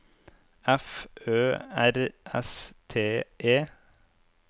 F Ø R S T E